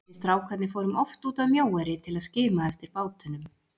Við strákarnir fórum oft út að Mjóeyri til að skima eftir bátunum.